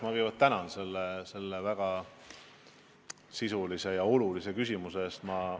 Ma kõigepealt tänan selle väga sisulise ja olulise küsimuse eest!